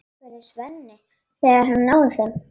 spurði Svenni, þegar hann náði þeim.